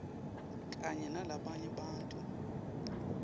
kanye nalabanye bantfu